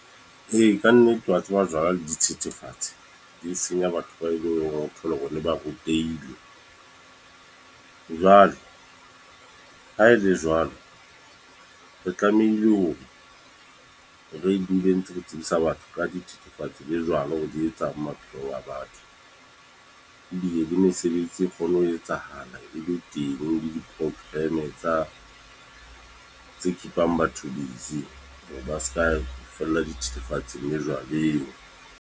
Ee, kannete wa tseba jwala le dithethefatsi, di senya batho ba eleng hore o thole hore le ba rutehile. Jwale ha e le jwalo, re tlamehile hore re dule ntse re tsebisa batho ka dithethefatsi le jwala hore re di etsang maphelo a batho. Ebile le mesebetsi e kgone ho etsahala e be le teng le di-program tsa tse keep-ang batho base ba seka fella dithethefatsi le jwaleng.